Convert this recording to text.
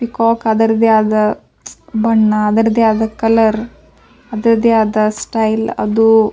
peacock ಅದರದೆ ಆದ ಬಣ್ಣ ಅದರದೆ ಆದ ಕಲರ್ ಅದರದೆ ಆದ ಸ್ಟೈಲ್ ಅದು --